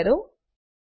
પર ક્લિક કરો